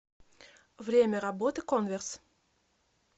время работы конверс